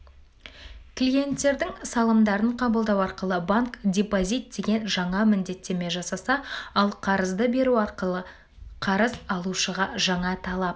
клиенттердің салымдарын қабылдау арқылы банк депозит деген жаңа міндеттеме жасаса ал қарызды беру арқылы қарыз алушыға жаңа талап